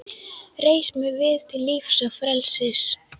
Reis mig við til lífs og frelsis!